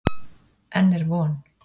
Enn er von.